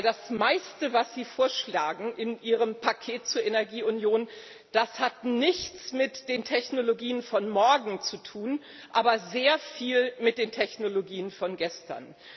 Denn das Meiste, das Sie in Ihrem Paket zur Energieunion vorschlagen, hat nichts mit den Technologien von morgen zu tun, aber sehr viel mit den Technologien von gestern.